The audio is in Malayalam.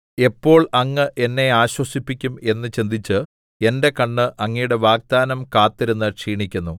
എപ്പോൾ അങ്ങ് എന്നെ ആശ്വസിപ്പിക്കും എന്ന് ചിന്തിച്ച് എന്റെ കണ്ണ് അങ്ങയുടെ വാഗ്ദാനം കാത്തിരുന്ന് ക്ഷീണിക്കുന്നു